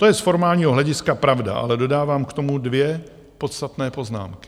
To je z formálního hlediska pravda, ale dodávám k tomu dvě podstatné poznámky.